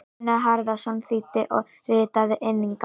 Gunnar Harðarson þýddi og ritaði inngang.